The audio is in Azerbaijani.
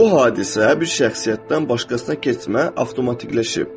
Bu hadisə bir şəxsiyyətdən başqasına keçmə avtomatlaşıb.